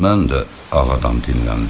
Mən də Ağadan dinləndim.